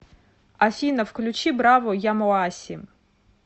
афина включи браво ямоаси